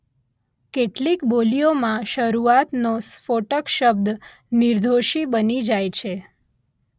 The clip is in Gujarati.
કેટલીક બોલીઓમાં શરૂઆતનો સ્ફોટક શબ્દ નિર્ઘોષી બની જાય છે